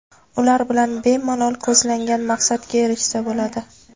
Ular bilan bemalol ko‘zlangan maqsadga erishsa bo‘ladi.